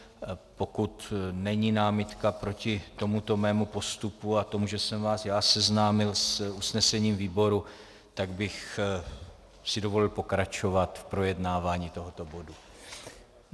Pokud není námitka proti tomuto mému postupu a tomu, že jsem vás já seznámil s usnesením výboru, tak bych si dovolil pokračovat v projednávání tohoto bodu.